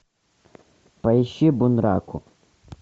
поищи бунраку